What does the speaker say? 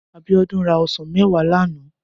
Abiodun rá òsán mèwá làná